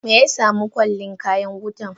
Meyasamu Kwalin kayan wuta?